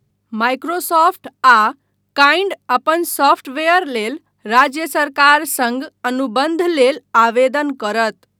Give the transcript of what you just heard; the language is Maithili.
माइक्रोसॉफ्ट आ काइन्ड अपन सॉफ्टवेयरलेल राज्य सरकार सङ्ग अनुबन्ध लेल आवेदन करत।